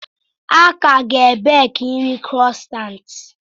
A ka ga-ebeki nri croissants.